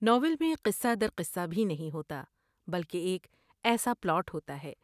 Novel میں قصہ در قصہ بھی نہیں ہوتا بلکہ ایک ایسا پلاٹ ہوتا ہے ۔